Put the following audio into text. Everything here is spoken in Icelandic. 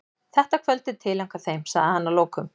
Þetta kvöld er tileinkað þeim, sagði hann að lokum.